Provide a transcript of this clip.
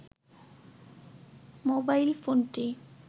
mobile ফোনটি